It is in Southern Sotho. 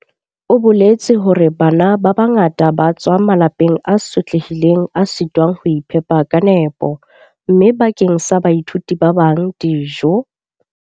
O boletse hore "Bana ba bangata ba tswa malapeng a sotlehileng a sitwang ho iphepa ka nepo, mme bakeng sa baithuti ba bang, dijo.